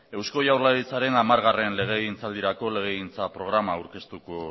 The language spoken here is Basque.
eusko jaurlaritzaren hamargarren legegintzaldirako legegintza programa aurkeztuko